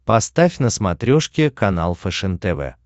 поставь на смотрешке канал фэшен тв